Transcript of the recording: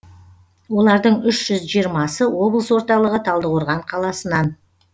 олардың үш жүз жиырмасы облыс орталығы талдықорған қаласынан